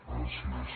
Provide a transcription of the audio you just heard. gràcies